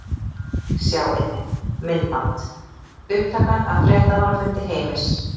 Sjá einnig: Myndband: Upptaka af fréttamannafundi Heimis